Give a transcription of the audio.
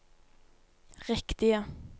riktige